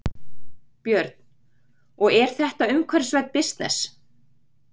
Björn: Og er þetta umhverfisvænn bisness?